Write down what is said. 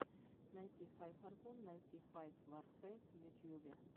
найти файв аргун найти файв варфейс в ютьюбе